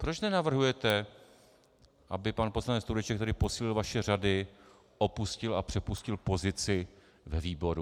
Proč nenavrhujete, aby pan poslanec Tureček, který posílil vaše řady, opustil a přepustil pozici ve výboru?